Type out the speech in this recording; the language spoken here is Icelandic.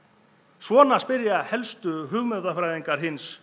svona spyrja helstu hugmyndafræðingar hins